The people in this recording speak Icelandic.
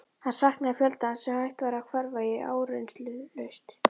Hann saknaði fjöldans sem hægt var að hverfa í áreynslulaust.